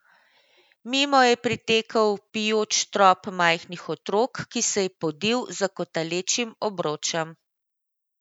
Mimo je pritekel vpijoč trop majhnih otrok, ki se je podil za kotalečim obročem.